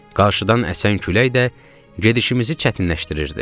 Qarşıdan əsən külək də gedişimizi çətinləşdirirdi.